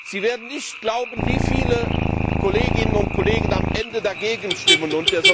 Sie werden nicht glauben, wie viele Kolleginnen und Kollegen am Ende dagegen stimmen.